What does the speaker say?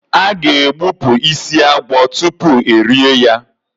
A ga- egbupụ isi agwọ tutu erie ya.